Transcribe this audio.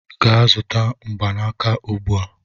Gaa zụta mgbanaka ugbu a!